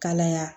Kalaya